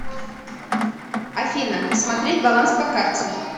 афина посмотреть баланс по карте